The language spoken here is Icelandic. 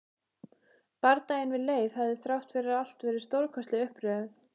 Bardaginn við Leif hafði þrátt fyrir allt verið stórkostleg upplifun.